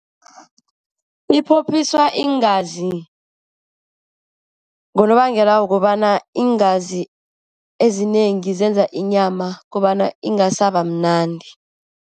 Iphophiswa iingazi ngonobangela wokobana iingazi ezinengi zenza inyama kobana ingasaba mnandi.